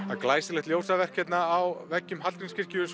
er glæsilegt ljósaverk hérna á veggjum Hallgrímskirkju